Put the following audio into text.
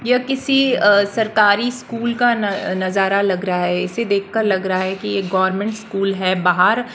यह किसी अ सरकारी स्कूल का न नजारा लग रहा है इसे देखकर लग रहा है कि यह गवर्नमेंट स्कूल है बाहर--